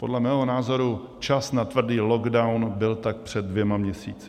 Podle mého názoru čas na tvrdý lockdown byl tak před dvěma měsíci.